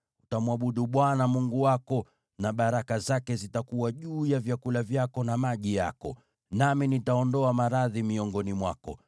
Utamwabudu Bwana Mungu wako, na baraka zake zitakuwa juu ya vyakula vyako na maji yako. Nami nitaondoa maradhi miongoni mwako,